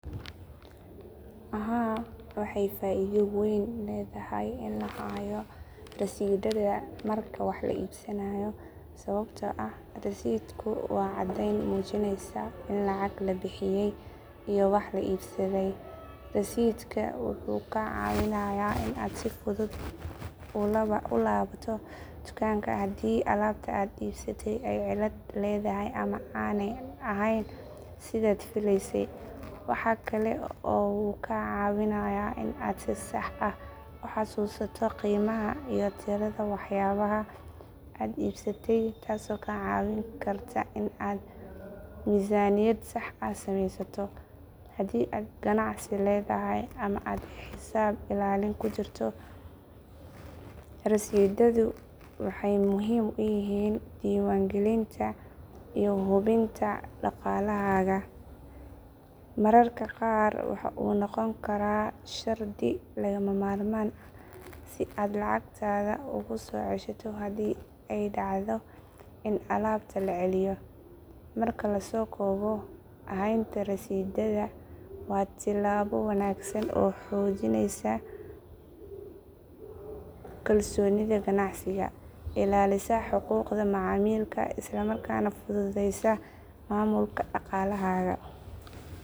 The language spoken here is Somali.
Haa waxay faaido weyn leedahay in la hayo rasiidhada marka wax la iibsanayo sababtoo ah rasiidhku waa caddeyn muujinaysa in lacag la bixiyay iyo waxa la iibsaday. Rasiidhka wuxuu kaa caawinayaa in aad si fudud u laabato dukaanka haddii alaabta aad iibsatay ay cilad leedahay ama aanay ahayn sidaad filaysay. Waxaa kale oo uu kaa caawinayaa in aad si sax ah u xasuusato qiimaha iyo tirada waxyaabaha aad iibsatay taasoo kaa caawin karta in aad miisaaniyad sax ah samaysato. Haddii aad ganacsi leedahay ama aad xisaab ilaalin ku jirto, rasiidhadu waxay muhiim u yihiin diiwaangelinta iyo hubinta dhaqaalahaaga. Mararka qaar waxa uu noqon karaa shardi lagama maarmaan ah si aad lacagtaada ugu soo ceshato haddii ay dhacdo in alaabta la celiyo. Marka la soo koobo, haynta rasiidhada waa tilaabo wanaagsan oo xoojisa kalsoonida ganacsiga, ilaalisa xuquuqda macaamilka, isla markaana fududeysa maamulka dhaqaalahaaga.